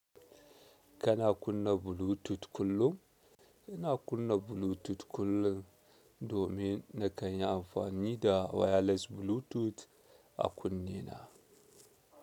Kana kunna Bluetooth kullum? Ina kunna Bluetooth kullum domin na kanyi amfani da wireless Bluetooth a kunne na.